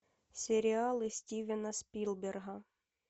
сериалы стивена спилберга